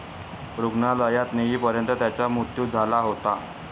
रूग्णालयात नेईपर्यंत त्यांचा मृत्यू झाला होता.